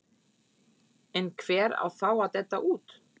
En hver á þá að detta út?